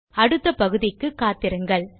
ஆகவே அடுத்த பகுதிக்கு காத்திருங்கள்